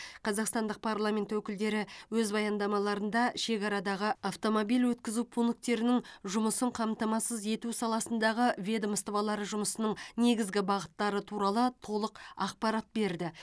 қазақстандық парламент өкілдері өз баяндамаларында шекарадағы автомобиль өткізу пункттерінің жұмысын қамтамасыз ету саласындағы ведомстволары жұмысының негізгі бағыттары туралы толық ақпарат берді